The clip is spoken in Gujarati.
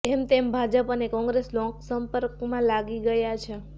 તેમ તેમ ભાજપ અને કોંગ્રેસ લોકસંપર્કમાં લાગી ગયા છે